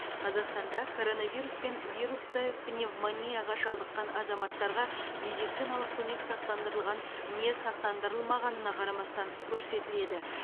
қазақстанда коронавирус пен вирусты пневмонияға шалдыққан азаматтарға медициналық көмек сақтандырылған не сақтандырылмағанына қарамастан көрсетіледі